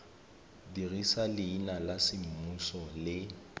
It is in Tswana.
dirisa leina la semmuso le